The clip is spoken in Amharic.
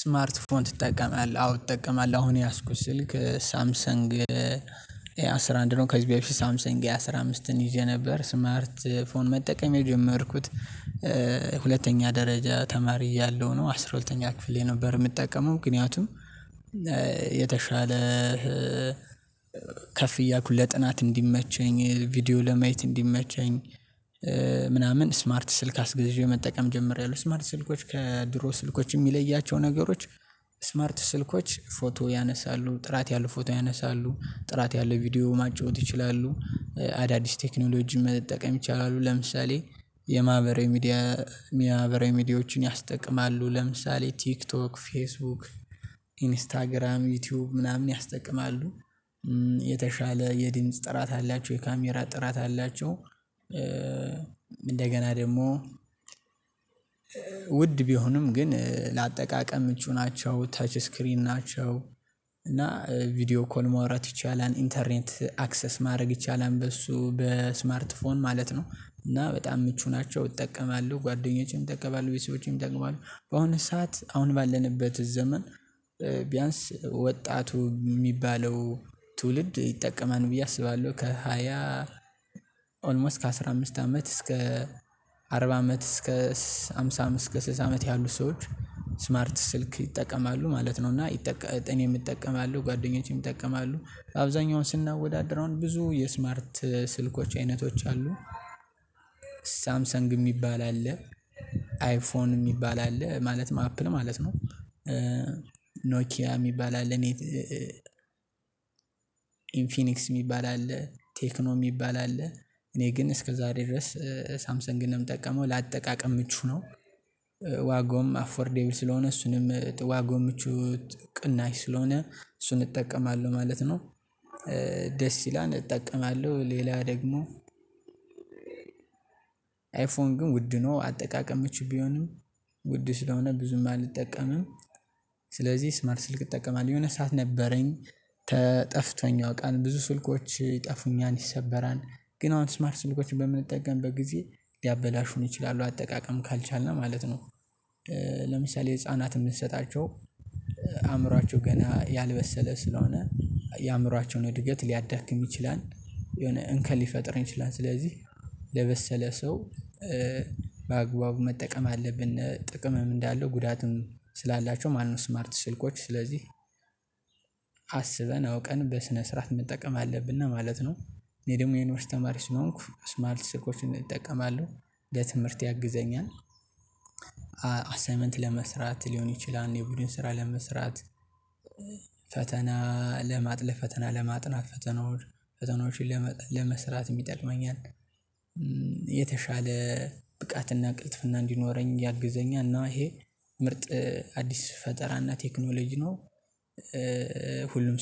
ስማርት ፎን ትጠቀማለህ አዎ እጠቀማለህ አሁን የያዝኩት ስልክ ሳምሰንግ ኤ አስራ አንድ ነው ከዚህ በፊት ሳምሰን ኤ አስራ አምስትን ይዤ ነበር ስማርት ፎን መጠቀም የጀመርኩት። ሁለተኛ ደረጃ ተማሪ እያለሁ ነው አስራ ሁለተኛ ክፍል የነበር የምጠቀመው ምክንያቱም የተሻለ ከፍ እያኩ ለጥናት እንዲመቸኝ ቪዲዮ ለማየት እንዲመቸኝ ምናምን ስማርት ስልክ አስገዤ መጠቀም ጀምሬያለሁ። ስማርት ስልኮች ከድሮ ስልኮች የሚለያቸው ነገሮች ስማርት ስልኮች ፎቶ ያነሳሉ ጥራት ያለው ፎቶ ያነሳሉ ጥራት ያለው ቪዲዮ ማጫወት ይችላሉ። አዳዲስ ቴክኖሎጂን መጠቀም ይችላሉ ለምሳሌ የማህበራዊ ሚዲያ የማህበራዊ ሚዲያዎችን ያስጠቅማሉ ለምሳሌ ቲክቶክ ፌስቡክ ኢንስታግራም ዩቲዩብ ምናምን ያስጠቅማሉ። የተሻለ የድምጽ ጥራት አላቸው የካሜራ ጥራት አላቸው እንደገና ደግሞ ውድ ቢሆንም ግን ለአጠቃቀም ምቹ ናቸው ተች ስክሪን ናቸው። እና ቪዲዮ ኮል ማውራት ይቻላል ኢንተርኔት አክሰስ ማድረግ ይቻላል በሱ በስማርት ፎን ማለት ነው። እና በጣም ምቹ ናቸው እጠቀማለሁ ጓደኞቼም ይጠቀማሉ ቤተሰቦቼም ይጠቀማሉ በአሁኑ ሰዓት አሁን ባለንበት ዘመን። ቢያንስ ወጣቱ የሚባለው ትውልድ ይጠቀማል ብዬ አስባለሁ ከሃያ ኦልሞስት ከአሥራ አምስት አመት እስከ አርባ አመት እስከ አምሳ አምስት እስከ ስድሳ አመት ያሉት ሰዎች ስልክ ይጠቀማሉ ማለት ነው። እና ይጠቀ እኔም እጠቀማለሁ ጓደኞቼም ይጠቀማሉ አብዛኛውን ስናወዳድረው ብዙ የስማርት ስልኮች አይነቶች አሉ። ሳምሰንግ የሚባል አለ አይፎን የሚባል አለ ማለትም አፕል ማለት ነው። ኖኪያ የሚባል አለ እኔ ኢንፊኒክስ የሚባል አለ ቴክኖ የሚባል አለ እኔ ግን እስከ ዛሬ ድረስ ሳምሰንግን ነው የምጠቀመው ለአጠቃቀም ምቹ ነው። ዋጋውም አፎርዴብል ስለሆነ እሱንም ጥዋ ጎምቹት ቅናሽ ስለሆነ እሱን እጠቀማለሁ ማለት ነው። ደስ ይላል እጠቀማለሁ ሌላ ደግሞ አይፎን ግን ውድ ነው አጠቃቀም ምቹ ቢሆንም ውድ ስለሆነ ብዙም አልጠቀምም። ስለዚህ ስማር ስልክ እጠቀማ የሆነ ሰዓት ነበረኝ ተጠፍቶኝ አውቃለሁ ብዙ ስልኮች ይጠፉኛል ይሰበራል ግን አሁን ስማርት ስልኮችን በምንጠቀም በጊዜ ሊያበላሹን ይችላሉ አጠቃቀም ካልቻልን ማለት ነው። ለምሳሌ ህፃናትን ብንሰጣቸው አእምሮአቸው ገና ያልበሰለ ስለሆነ የአእምሮአቸውን እድገት ሊያዳክም ይችላል የሆነ እንከን ሊፈጥር ይችላል ስለዚህ ለበሰለ ሰው በአግባቡ መጠቀም አለብን ጥቅምም እንዳለው ጉዳትም ስላላቸው ማለትነው። ስማርት ስልኮች ስለዚህ አስበን አውቀን በስነ ስርዓት መጠቀም አለብን እና ማለት ነው። እኔ ደግሞ የዩኒቨርሲቲ ተማሪ ስለሆንኩ ስማርት ስልኮችን እጠቀማለሁ ለትምህርት ያግዘኛል አሳይመንት ለመስራት ሊሆን ይችላል የቡድን ስራ ለመስራት ፈተና ለማጥለፍ ፈተና ለማጥናት ፈተናዎች ፈተናዎችን ለመስራትም ይጠቅመኛል። የተሻለ ብቃትና ቅልጥፍና እንዲኖረኝ ያግዘኛል እና ይሄ ምርጥ አዲስ ፈጠራና ቴክኖሎጂ ነው።